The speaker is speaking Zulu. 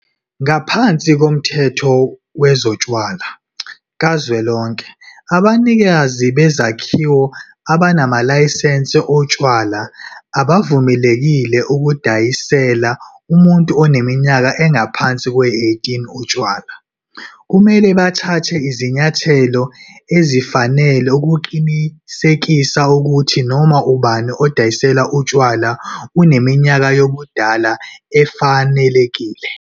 Ngaphansi koMthetho Wezotshwala Kazwelonke, abanikazi bezakhiwo abanamalayisense otshwala abavumelekile ukudayisela umuntu oneminyaka engaphansi kweyi-18 utshwala. Kumele bathathe izinyathelo ezifanele ukuqinisekisa ukuthi noma ubani odayiselwa utshwala uneminyaka yobudala efanelekile.